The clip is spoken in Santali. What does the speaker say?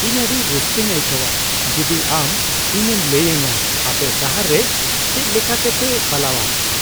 ᱤᱧ ᱟᱹᱰᱤ ᱨᱟᱹᱥᱠᱟᱹᱧ ᱟᱹᱭᱠᱟᱹᱣᱟ ᱡᱩᱫᱤ ᱟᱢ ᱤᱧᱮᱢ ᱞᱟᱹᱭ ᱟᱹᱧᱟᱹ ᱟᱯᱮ ᱥᱟᱦᱟᱨ ᱨᱮ ᱪᱮᱫᱞᱮᱠᱟᱛᱮᱯᱮ ᱯᱟᱞᱟᱣᱼᱟ ᱾